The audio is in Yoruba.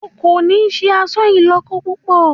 O kò ní se àṣà ìlọ́kọ púpọ̀!